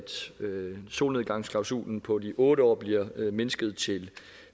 solnedgangsklausulen på de otte år bliver mindsket til